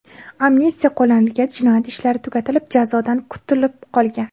Amnistiya qo‘llanilgach, jinoyat ishlari tugatilib, jazodan kutilib qolgan.